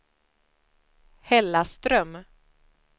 Hällaström